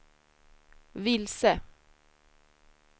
vilse